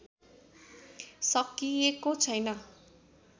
सकिएको छैन